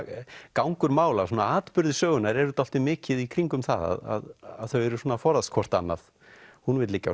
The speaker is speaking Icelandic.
gangur mála atburðir sögunnar eru dálítið mikið í kringum það að þau eru svona að forðast hvort annað hún vill liggja á